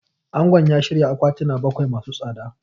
Angon ya shirya akwatina bakwai masu tsada.